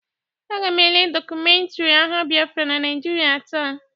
Aga m ele dọkumentiri agha Bịafra na Naịjịrịa taa.